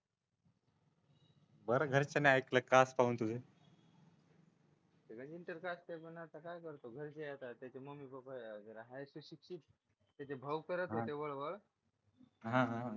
बरं घरच्यांनी ऐकलं काय करतो घरचे आता त्यांचे मम्मी पप्पा भाऊ करत होते वळवळ